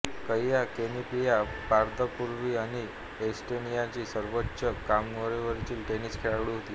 कैया कनेपीच्या पदार्पणापूर्वी अनी एस्टेनियाची सर्वोच्च क्रमवारीची टेनिस खेळाडू होती